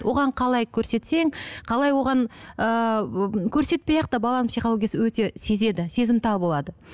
оған қалай көрсетсең қалай оған ыыы көрсетпей ақ та баланың психологиясы өте сезеді сезімтал болады